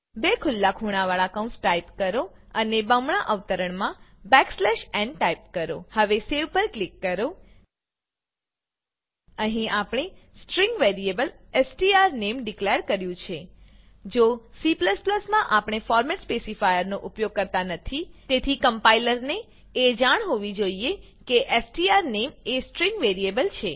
બે ખુલ્લા ખૂણાવાળા કૌંસ ટાઈપ કરો અને બમણા અવતરણમાં n ટાઈપ કરો હવે સેવ પર ક્લિક કરો અહીં આપણે સ્ટ્રીંગ વેરીએબલ સ્ટ્રોનેમ ડીકલેર કર્યું છે જો કે C માં આપણે ફોર્મેટ સ્પેસીફાયરનો ઉપયોગ કરતા નથી તેથી કમ્પાઈલરને એ જાણ હોવી જોઈએ કે સ્ટ્રોનેમ એ સ્ટ્રીંગ વેરીએબલ છે